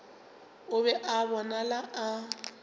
o be a bonala a